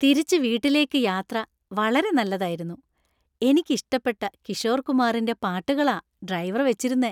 തിരിച്ചു വീട്ടിലേക്കു യാത്ര വളരെ നല്ലതായിരുന്നു. എനിക്ക്ഇഷ്ടപ്പെട്ട കിഷോർ കുമാറിന്‍റെ പാട്ടുകളാ ഡ്രൈവർ വെച്ചിരുന്നെ.